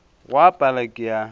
go a pala ke a